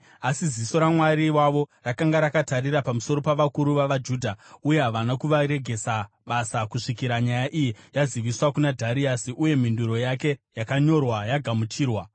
Asi ziso raMwari wavo rakanga rakatarira pamusoro pavakuru vavaJudha, uye havana kuvaregesa basa kusvikira nyaya iyi yaziviswa kuna Dhariasi uye mhinduro yake yakanyorwa yagamuchirwa.